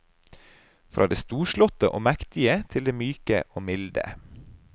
Fra det storslåtte og mektige, til det myke og milde.